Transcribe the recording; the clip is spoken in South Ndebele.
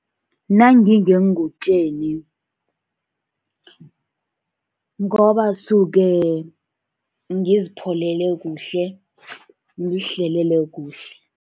Nangingeengutjeni, ngoba suke ngizipholele kuhle, ngizihlele kuhle.